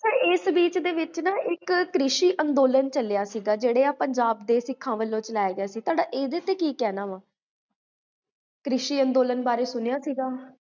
ਏਸ ਬਿਚ ਨਾ, ਇਕ ਕ੍ਰਿਸ਼ੀ ਅੰਦੋਲਨ ਚਲਿਆ ਸੀਗਾ, ਜੇਹੜੇ ਆਹ, ਪੰਜਾਬ ਦੇ ਸਿਖਾਂ ਵੱਲੋ ਚਲਾਇਆ ਗਿਆ ਸੀ ਤਾਡਾ, ਏਦੇ ਤੇ ਕੀ ਕਹਨਾ?